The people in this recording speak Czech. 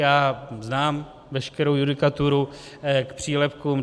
Já znám veškerou judikaturu k přílepkům.